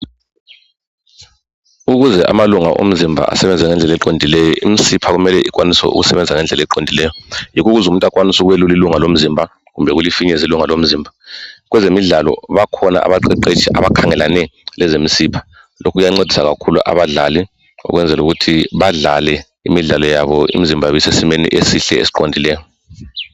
Ukuze amalunga omzimba asebenze ngendlela eqondileyo imisipha kumele ikwanise ukusebenza ngendlela eqondileyo yikho ukuze umuntu akwanise ukuphakamisa ilunga lomzimba kumbe ukulifinyeza ilunga lomzimba. Kwezemidlalo bakhona abaqeqetshi abakhangelane lezemisipha. Lokhu kuyancedisa kakhulu abadlali ukwenzela ukuthi badlale imidlalo yabo imizimba yabo isesimeni esihle esiqondileyo.